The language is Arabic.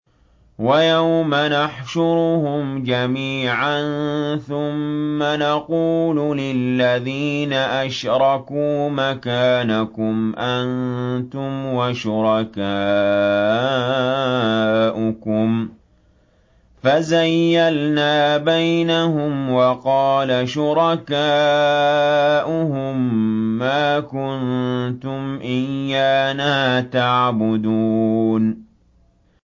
وَيَوْمَ نَحْشُرُهُمْ جَمِيعًا ثُمَّ نَقُولُ لِلَّذِينَ أَشْرَكُوا مَكَانَكُمْ أَنتُمْ وَشُرَكَاؤُكُمْ ۚ فَزَيَّلْنَا بَيْنَهُمْ ۖ وَقَالَ شُرَكَاؤُهُم مَّا كُنتُمْ إِيَّانَا تَعْبُدُونَ